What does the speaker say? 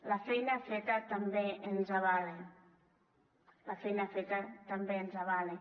la feina feta també ens avala la feina feta també ens avala